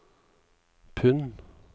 pund